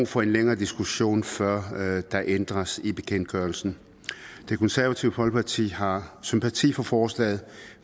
for en længere diskussion før der ændres i bekendtgørelsen det konservative folkeparti har sympati for forslaget